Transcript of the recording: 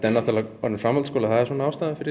náttúrulega orðinn framhaldsskóli og það er ástæðan fyrir